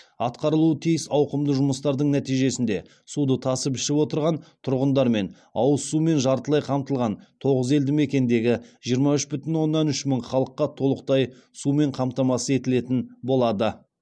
атқарылуы тиіс ауқымды жұмыстардың нәтижесінде суды тасып ішіп отырған тұрғындар мен ауызсумен жартылай қамтылған тоғыз елді мекендегі жиырма үш бүтін оннан үш мың халыққа толықтай сумен қамтамасыз етілетін болады